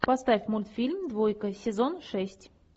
поставь мультфильм двойка сезон шесть